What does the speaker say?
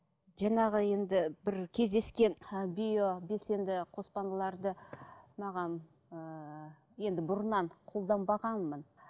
жаңағы енді бір кездескен ы био белсенді қоспаларды маған ыыы енді бұрыннан қолданбағанмын